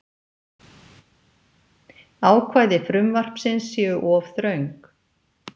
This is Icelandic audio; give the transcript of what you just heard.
Ákvæði frumvarpsins séu of þröng